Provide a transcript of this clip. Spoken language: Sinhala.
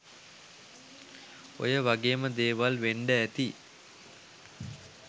ඔය වගේම දේවල් වෙන්ඩ ඇති